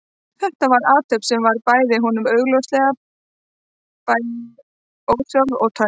Þetta var athöfn sem var honum augljóslega bæði ósjálfráð og töm.